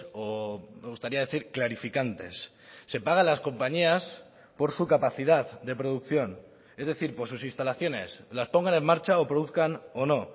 o me gustaría decir clarificantes se paga a las compañías por su capacidad de producción es decir por sus instalaciones las pongan en marcha o produzcan o no